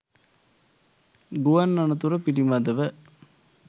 ගුවන් අනතුර පිළිබඳව